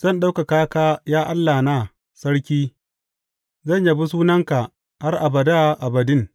Zan ɗaukaka ka, ya Allahna, Sarki; zan yabi sunanka har abada abadin.